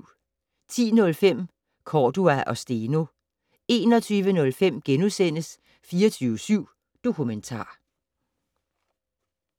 10:05: Cordua og Steno 21:05: 24syv Dokumentar *